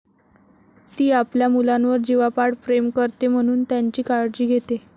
ती आपल्या मुलांवर जिवापाड प्रेम करते म्हणून त्यांची काळजी घेते.